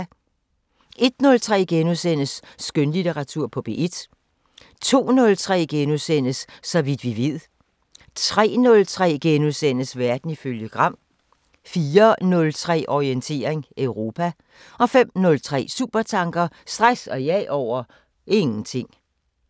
01:03: Skønlitteratur på P1 * 02:03: Så vidt vi ved * 03:03: Verden ifølge Gram * 04:03: Orientering Europa 05:03: Supertanker: Stress og jag over ... ingenting